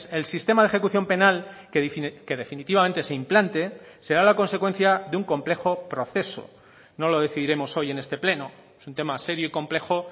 el sistema de ejecución penal que definitivamente se implante será la consecuencia de un complejo proceso no lo decidiremos hoy en este pleno es un tema serio y complejo